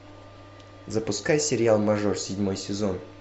запускай сериал мажор седьмой сезон